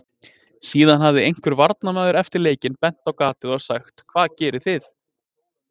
Síðan hafi einhver varnarmaður eftir leikinn bent á gatið og sagt: Hvað gerið þið?